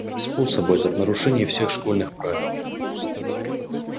способ этот нарушение всех школьных правил